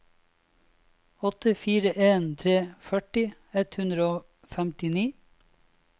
åtte fire en tre førti ett hundre og femtini